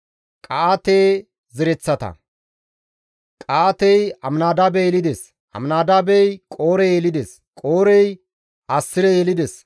Qa7aate zereththata; Qa7aatey Aminadaabe yelides; Aminadaabey Qoore yelides; Qoorey Assire yelides;